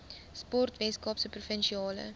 sport weskaapse provinsiale